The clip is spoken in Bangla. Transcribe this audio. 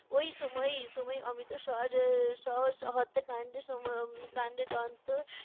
ওই সময়ই সময়ই অমৃতসর শহর হত্যাকান্ডের সময় কাণ্ডের দন্ত